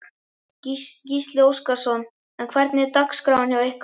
Gísli Óskarsson: En hvernig er dagskráin hjá ykkur?